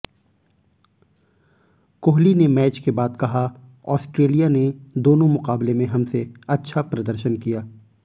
कोहली ने मैच के बाद कहा ऑस्ट्रेलिया ने दोनों मुकाबले में हमसे अच्छा प्रदर्शन किया